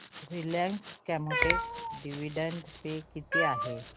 Reliance Chemotex dividend pay किती आहे